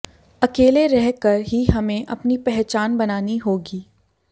अकेले रह कर ही हमें अपनी पहचान बनानी होगी